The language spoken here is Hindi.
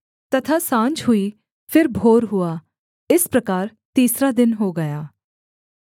तथा साँझ हुई फिर भोर हुआ इस प्रकार तीसरा दिन हो गया